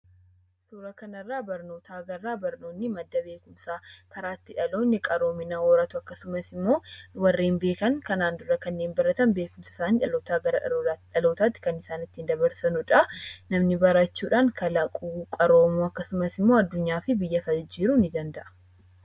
Suuraa kanarraa barnoota agarraa. Barnoonni: madda beekumsaa, karaa itti dhaloonni qaroomina horatu, akkasumas immoo warreen beekan (kanaan dura kanneen baratan) beekumsa isaanii dhalootaa gara dhalootaatti kan isaan ittiin dabarsanu dhaa. Namni barachuudhaan kalaquu, qaroomuu, akkasumas immoo addunyaa fi biyyasaa jijjiiruu ni danda'a.